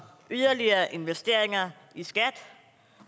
yderligere investeringer i skat